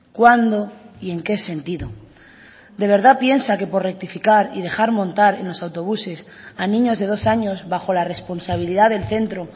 cuándo y en qué sentido de verdad piensa que por rectificar y dejar montar en los autobuses a niños de dos años bajo la responsabilidad del centro